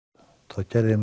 þá gerði ég